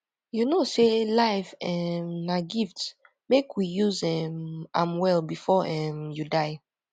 you know sey life um na gift make we use um am well before um you die